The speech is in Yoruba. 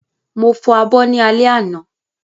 Mo fọ abọ́ ní alẹ́ àná